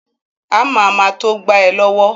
Ámà ma to gba ẹ lọ́wọ́